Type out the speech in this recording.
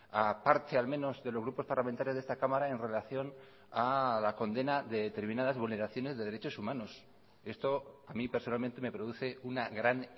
a parte al menos de los grupos parlamentarios de esta cámara en relación a la condena de determinadas vulneraciones de derechos humanos esto a mi personalmente me produce una gran